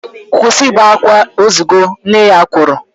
Kwụsị ibe akwa, ozugo! Nne ya kwuru